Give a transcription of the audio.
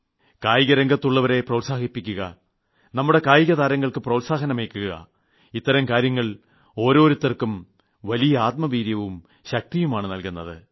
കായിക രംഗത്തുള്ളവരെ പ്രോത്സാഹിപ്പിക്കുക നമ്മുടെ കായിക താരങ്ങൾക്ക് പ്രോത്സാഹനമേകുക ഇത്തരം കാര്യങ്ങൾ ഓരോരുത്തർക്കും വലിയ ആത്മവീര്യവും ശക്തിയുമാണ് നൽകുന്നത്